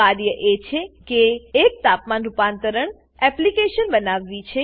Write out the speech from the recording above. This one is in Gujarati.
કાર્ય એ છે કે એક તાપમાન રૂપાંતરણ એપ્લીકેશન બનાવવી છે